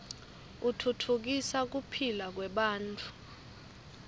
utfutfukisa kuphila kwebantfu